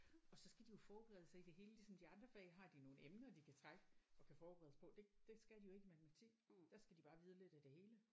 Og så skal de jo forberede sig i det hele ligesom de andre fag har de nogle emner de kan trække og kan forberede sig på det det skal de jo ikke i matematik der skal de bare vide lidt af det hele